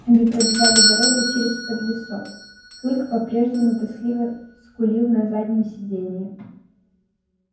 они пробивали дорогу через подлесок клык по-прежнему тоскливо скулил на заднем сиденье